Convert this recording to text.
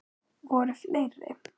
Voru fleiri?